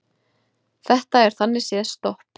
Þetta er þannig séð stopp